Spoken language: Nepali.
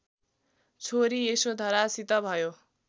छोरी यशोधरासित भयो